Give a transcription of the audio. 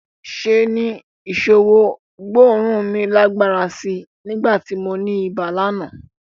Ṣe ni ìṣọwọ́ gbóòórùn mi lágbára sí í nígbà tí mo ní ibà lánàá